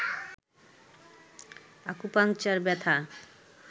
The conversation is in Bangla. আকুপাংচার ব্যথা